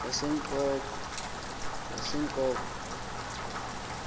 yasengqoko